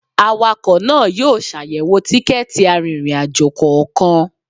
Awakọ̀ náà yóò ṣàyẹ̀wò tikẹ́ẹ̀tì arìnrìn-àjò kọ̀ọ̀kan